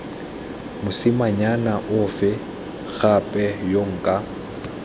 mosimanyana ofe gape yo nka